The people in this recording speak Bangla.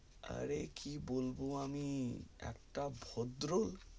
অরে কি বলবো আমি একটা ভদ্র